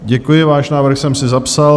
Děkuji, váš návrh jsem si zapsal.